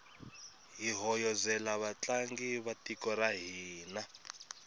hi hoyozela vatlangi va tiko ra hina